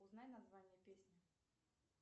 узнай название песни